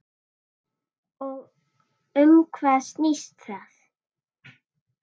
Og um hvað snýst það?